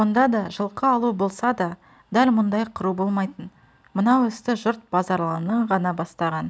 онда да жылқы алу болса да дәл мұндай қыру болмайтын мынау істі жұрт базаралының ғана бастаған